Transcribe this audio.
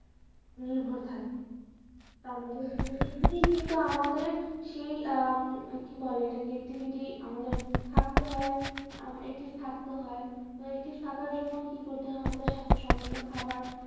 নির্ভর থাকি, তা আমাদের কিন্তু আমাদের সেই আহ উম কি বলে এটাকে activity আমাদের হাঁটতে হয় আম~ active থাকতে হয় তো active থাকার জন্য কি করতে হয় আমাদের স্বাস্থ্য সম্মত খাবার